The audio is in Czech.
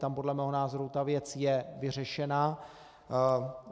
Tam podle mého názoru je ta věc vyřešena.